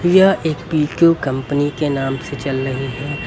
यह एक P Q company के नाम से चल रही है।